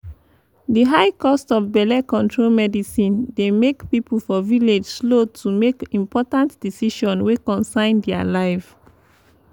di high cost of belle control medicine dey make people for village slow to make important decision wey concern dia life pause life pause